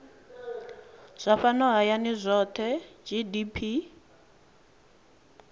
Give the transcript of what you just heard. zwa fhano hayani zwohe gdp